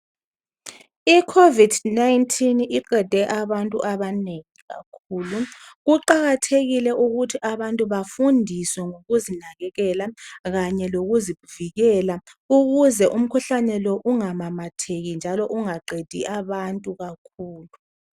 I covid 19 iqede abantu abanengi kakhulu. Kuqakathekile ukuthi abantu bafundiswe ngokuzinakekela kanye lokuzivikela ukuze umkhuhlane ungamamatheki njalo ungaqedi abantu kakhulu